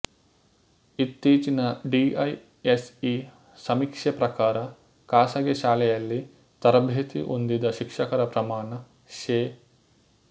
ಇತ್ತೀಚಿನ D I S E ಸಮೀಕ್ಷೆ ಪ್ರಕಾರ ಖಾಸಗಿ ಶಾಲೆಯಲ್ಲಿ ತರಭೇತಿ ಹೊಂದಿದ ಶಿಕ್ಷಕರ ಪ್ರಮಾಣ ಶೇ